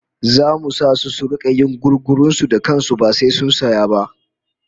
Zamu sa su da su rika yin gugurun su da kan su ba sai sun saya ba